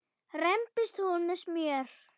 rembist hún með smjör.